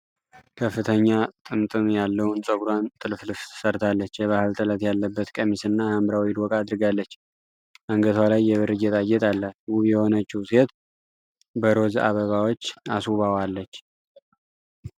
ከፍተኛ ጥምጥም ያለውን ፀጉሯን ጥልፍልፍ ሰርታለች። የባህል ጥለት ያለበት ቀሚስና ሐምራዊ ዶቃ አድርጋለች። አንገቷ ላይ የብር ጌጣጌጥ አላት። ውብ የሆነችው ሴት በሮዝ አበባዎች አስውባዋለች።